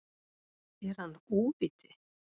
Er hann óviti?